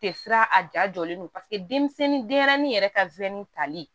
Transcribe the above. Tɛ siran a ja jɔlen don denmisɛnnin denyɛrɛnin yɛrɛ ka wili tali